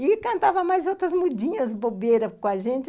E cantava mais outras mudinhas bobeiras com a gente.